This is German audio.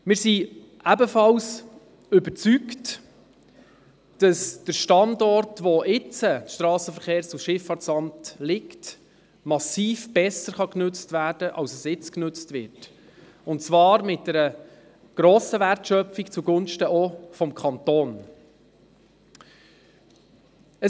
Auch sind wir überzeugt, dass der aktuelle Standort des SVSA massiv besser genutzt werden kann, als er jetzt genutzt wird, und zwar mit einer grossen Wertschöpfung, auch zugunsten des Kantons.